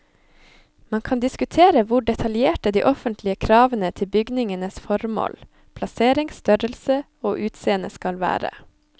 Man kan diskutere hvor detaljerte de offentlige kravene til bygningenes formål, plassering, størrelse og utseende skal være.